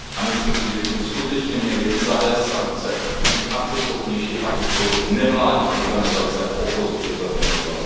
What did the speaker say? Myslím si, že bychom skutečně měli zavést sankce, být akceschopnější a podpořit nevládní organizace a opozici ve Venezuele.